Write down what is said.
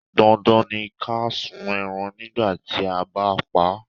Dandan ni ká sun ẹran nígbà tí a bá pa á.